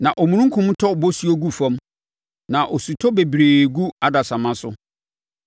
na omununkum tɔ bosuo gu fam na osutɔ bebree gu adasamma so.